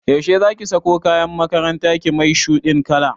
Yaushe zaki sako kayan makarantar ki mai shuɗin kala?